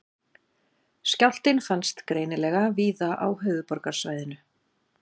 Skjálftinn fannst greinilega víða á höfuðborgarsvæðinu